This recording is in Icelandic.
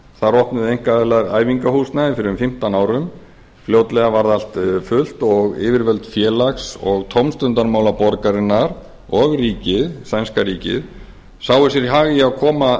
þar opnuðu einkaaðilar æfingahúsnæði fyrir um fimmtán árum fljótlega varð allt fullt og yfirvöld félags og tómstundamála borgarinnar og sænska ríkið sáu sér hag í að koma